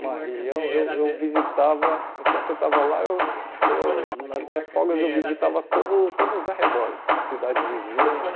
uma região, eu eu visitava, enquanto eu estava lá, eu eu nas minhas folgas eu visitava todo todos os arredores, as cidades vizinhas.